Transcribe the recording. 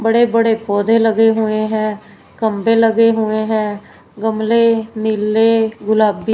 बड़े बड़े पौधे लगे हुए हैं खंभे लगे हुए हैं गमले नीले गुलाबी--